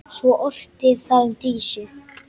Svo orti það um Dísu.